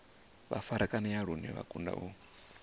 farakanea lune vha kundwa u